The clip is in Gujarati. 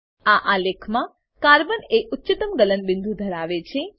આ આલેખમાં કાર્બન એ ઉચ્ચતમ ગલન બિંદુ ધરાવે છે